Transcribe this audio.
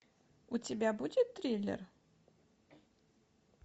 у тебя будет триллер